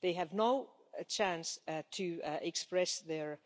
They have no chance to express their